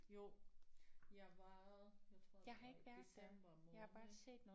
Jo jeg var jeg tror det var i december måned